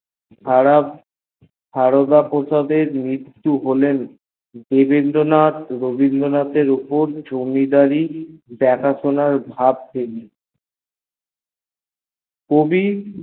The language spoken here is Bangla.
এর পর তর মৃত্তু হলে জমিদারি রবীন্দ্রনাথ ও দেবেন্দ্রনথ এর উপর জমিদারি ভর এসে পড়ল কবি